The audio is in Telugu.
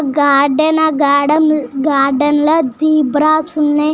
గార్డెన్ గార్డెన్ ల జేబ్రాస్ వున్నాయ్.